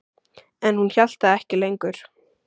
En hún hélt það ekki lengur.